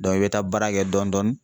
i bɛ taa baara kɛ dɔɔnin dɔɔnin.